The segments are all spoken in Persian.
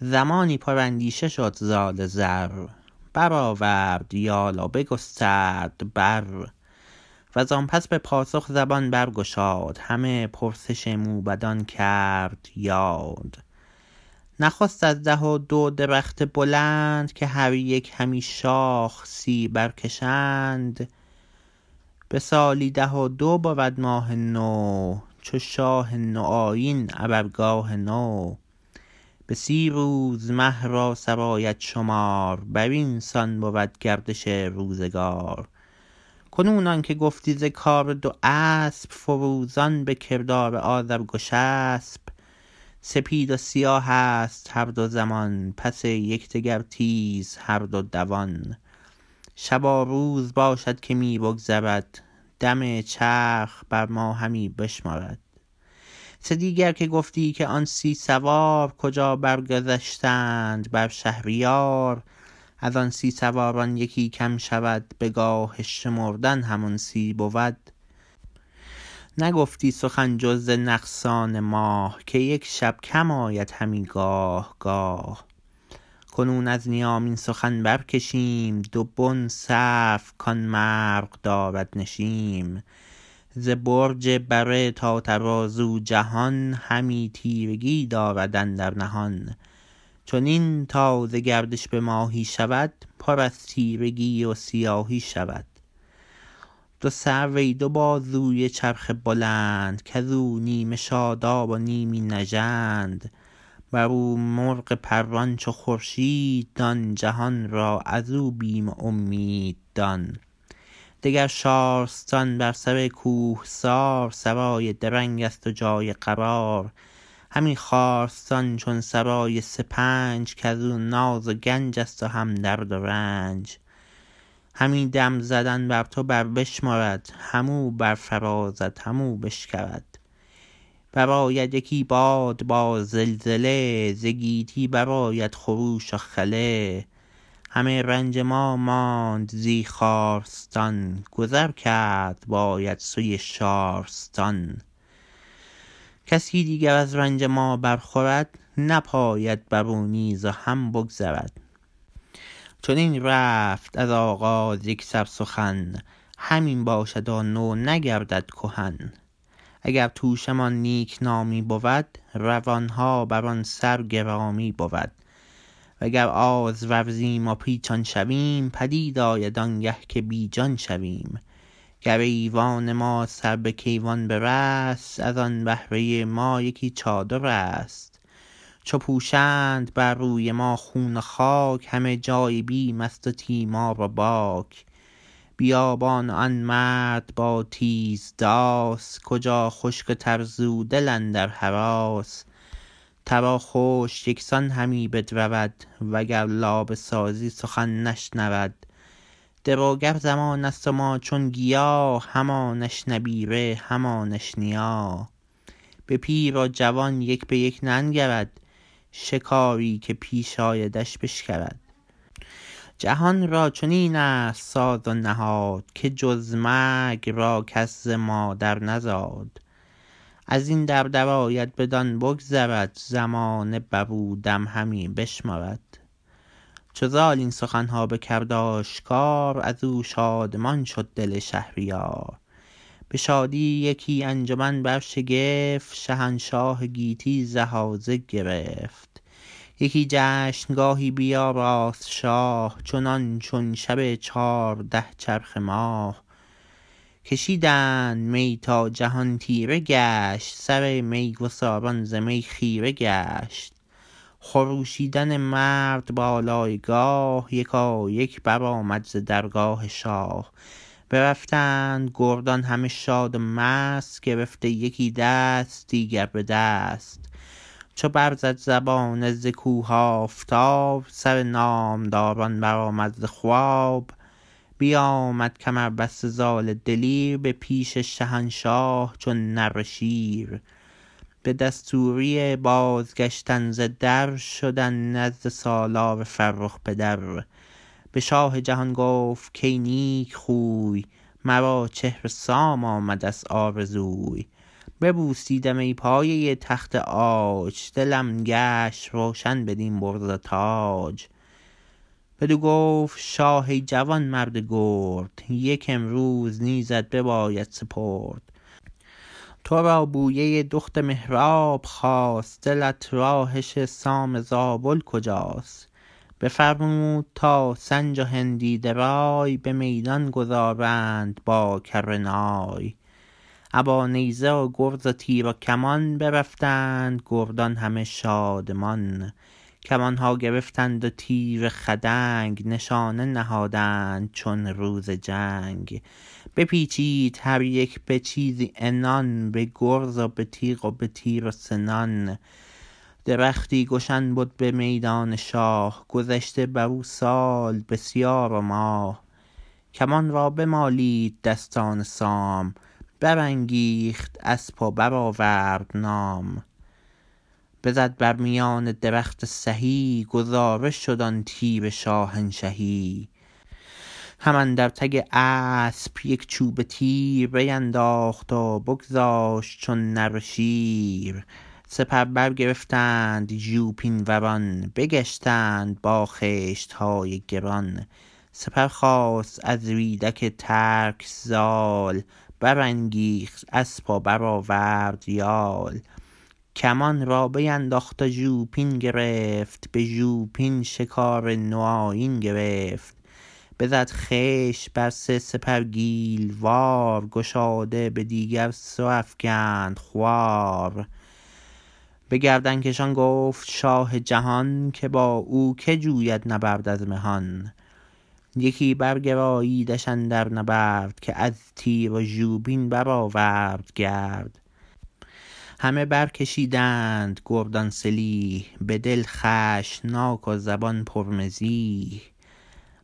زمانی پر اندیشه شد زال زر برآورد یال و بگسترد بر وزان پس به پاسخ زبان برگشاد همه پرسش موبدان کرد یاد نخست از ده و دو درخت بلند که هر یک همی شاخ سی برکشند به سالی ده و دو بود ماه نو چو شاه نو آیین ابر گاه نو به سی روز مه را سرآید شمار برین سان بود گردش روزگار کنون آنکه گفتی ز کار دو اسپ فروزان به کردار آذرگشسپ سپید و سیاهست هر دو زمان پس یکدگر تیز هر دو دوان شب و روز باشد که می بگذرد دم چرخ بر ما همی بشمرد سدیگر که گفتی که آن سی سوار کجا برگذشتند بر شهریار ازان سی سواران یکی کم شود به گاه شمردن همان سی بود نگفتی سخن جز ز نقصان ماه که یک شب کم آید همی گاه گاه کنون از نیام این سخن برکشیم دو بن سرو کان مرغ دارد نشیم ز برج بره تا ترازو جهان همی تیرگی دارد اندر نهان چنین تا ز گردش به ماهی شود پر از تیرگی و سیاهی شود دو سرو ای دو بازوی چرخ بلند کزو نیمه شادب و نیمی نژند برو مرغ پران چو خورشید دان جهان را ازو بیم و امید دان دگر شارستان بر سر کوهسار سرای درنگست و جای قرار همین خارستان چون سرای سپنج کزو ناز و گنجست و هم درد و رنج همی دم زدن بر تو بر بشمرد هم او برفرازد هم او بشکرد برآید یکی باد با زلزله ز گیتی برآید خروش و خله همه رنج ما ماند زی خارستان گذر کرد باید سوی شارستان کسی دیگر از رنج ما برخورد نپاید برو نیز و هم بگذرد چنین رفت از آغاز یکسر سخن همین باشد و نو نگردد کهن اگر توشه مان نیکنامی بود روانها بران سر گرامی بود و گر آز ورزیم و پیچان شویم پدید آید آنگه که بیجان شویم گر ایوان ما سر به کیوان برست ازان بهره ما یکی چادرست چو پوشند بر روی ما خون و خاک همه جای بیمست و تیمار و باک بیابان و آن مرد با تیز داس کجا خشک و تر زو دل اندر هراس تر و خشک یکسان همی بدرود وگر لابه سازی سخن نشنود دروگر زمانست و ما چون گیا همانش نبیره همانش نیا به پیر و جوان یک به یک ننگرد شکاری که پیش آیدش بشکرد جهان را چنینست ساز و نهاد که جز مرگ را کس ز مادر نزاد ازین در درآید بدان بگذرد زمانه برو دم همی بشمرد چو زال این سخنها بکرد آشکار ازو شادمان شد دل شهریار به شادی یکی انجمن برشگفت شهنشاه گیتی زهازه گرفت یکی جشنگاهی بیاراست شاه چنان چون شب چارده چرخ ماه کشیدند می تا جهان تیره گشت سرمیگساران ز می خیره گشت خروشیدن مرد بالای گاه یکایک برآمد ز درگاه شاه برفتند گردان همه شاد و مست گرفته یکی دست دیگر به دست چو برزد زبانه ز کوه آفتاب سر نامدران برآمد ز خواب بیامد کمربسته زال دلیر به پیش شهنشاه چون نره شیر به دستوری بازگشتن ز در شدن نزد سالار فرخ پدر به شاه جهان گفت کای نیکخوی مرا چهر سام آمدست آرزوی ببوسیدم این پایه تخت عاج دلم گشت روشن بدین برز و تاج بدو گفت شاه ای جوانمرد گرد یک امروز نیزت بباید سپرد ترا بویه دخت مهراب خاست دلت راهش سام زابل کجاست بفرمود تا سنج و هندی درای به میدان گذارند با کره نای ابا نیزه و گرز و تیر و کمان برفتند گردان همه شادمان کمانها گرفتند و تیر خدنگ نشانه نهادند چون روز جنگ بپیچید هر یک به چیزی عنان به گرز و به تیغ و به تیر و سنان درختی گشن بد به میدان شاه گذشته برو سال بسیار و ماه کمان را بمالید دستان سام برانگیخت اسپ و برآورد نام بزد بر میان درخت سهی گذاره شد آن تیر شاهنشهی هم اندر تگ اسپ یک چوبه تیر بینداخت و بگذاشت چون نره شیر سپر برگرفتند ژوپین وران بگشتند با خشتهای گران سپر خواست از ریدک ترک زال برانگیخت اسپ و برآورد یال کمان را بینداخت و ژوپین گرفت به ژوپین شکار نوآیین گرفت بزد خشت بر سه سپر گیل وار گشاده به دیگر سو افگند خوار به گردنکشان گفت شاه جهان که با او که جوید نبرد از مهان یکی برگراییدش اندر نبرد که از تیر و ژوپین برآورد گرد همه برکشیدند گردان سلیح بدل خشمناک و زبان پر مزیح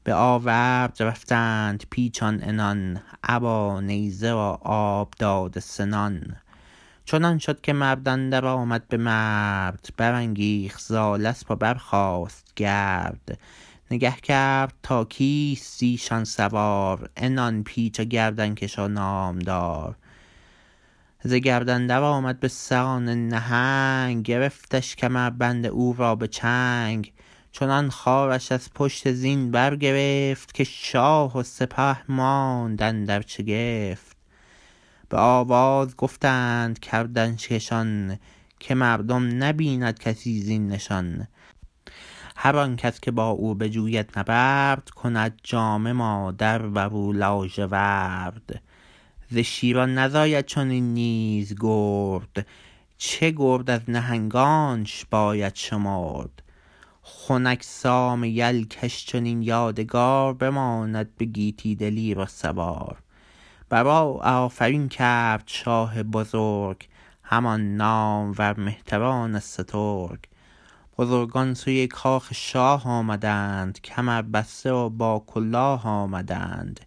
به آورد رفتند پیچان عنان ابا نیزه و آب داده سنان چنان شد که مرد اندر آمد به مرد برانگیخت زال اسپ و برخاست گرد نگه کرد تا کیست زیشان سوار عنان پیچ و گردنکش و نامدار ز گرد اندر آمد بسان نهنگ گرفتش کمربند او را به چنگ چنان خوارش از پشت زین برگرفت که شاه و سپه ماند اندر شگفت به آواز گفتند گردنکشان که مردم نبیند کسی زین نشان هر آن کس که با او بجوید نبرد کند جامه مادر برو لاژورد ز شیران نزاید چنین نیز گرد چه گرد از نهنگانش باید شمرد خنک سام یل کش چنین یادگار بماند به گیتی دلیر و سوار برو آفرین کرد شاه بزرگ همان نامور مهتران سترگ بزرگان سوی کاخ شاه آمدند کمر بسته و با کلاه آمدند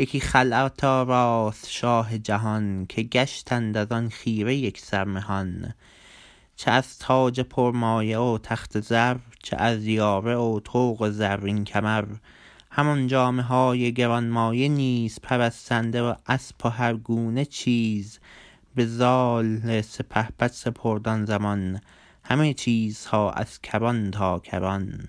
یکی خلعت آراست شاه جهان که گشتند ازان خیره یکسر مهان چه از تاج پرمایه و تخت زر چه از یاره و طوق و زرین کمر همان جامه های گرانمایه نیز پرستنده و اسپ و هر گونه چیز به زال سپهبد سپرد آن زمان همه چیزها از کران تا کران